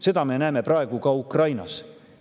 Seda me näeme praegu ka Ukrainas.